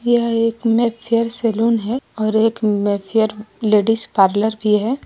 यह एक Mayfair salon है और एक मेफेयर लेडीज पार्लर भी है।